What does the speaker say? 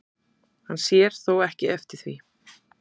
Hann sér þó ekki eftir því